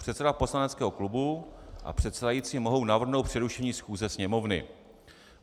Předseda poslaneckého klubu a předsedající mohou navrhnout přerušení schůze Sněmovny.